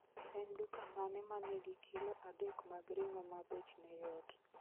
En duka mane ma nigi kilo adek mag ring'o ma bech ne yot